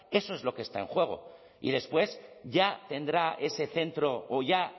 eso es lo que está en juego y después ya tendrá ese centro o ya